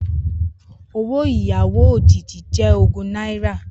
Owó ìyàwó òjìji jẹ́ ogún náírà